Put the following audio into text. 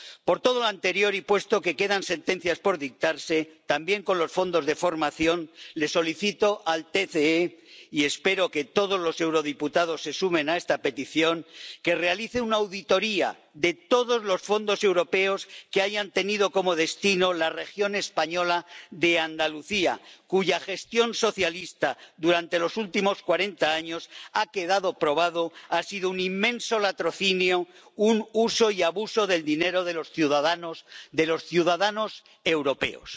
Por todo lo anterior, y puesto que quedan sentencias por dictarse, también con los fondos de formación, solicito al TCE ⸻y espero que todos los diputados de este Parlamento se sumen a esta petición⸻ que realice una auditoría de todos los fondos europeos que hayan tenido como destino la región española de Andalucía, cuya gestión socialista durante los últimos cuarenta años ⸻ha quedado probado⸻ ha sido un inmenso latrocinio, un uso y abuso del dinero de los ciudadanos, de los ciudadanos europeos.